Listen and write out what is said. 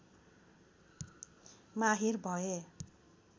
माहिर भए